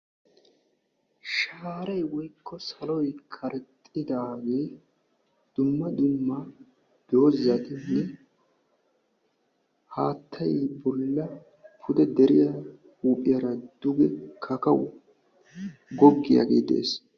Shaaray woykko saloy karexxidaagee dumma dumma doozatinne haattay bolla deriyaa huuphphiyaara duge kakawu goggiyaagee de'ees.